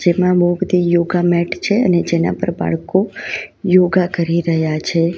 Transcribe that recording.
જેમાં બહુ બધી યોગા મેટ છે અને જેના પર બાળકો યોગા કરી રહ્યા છે.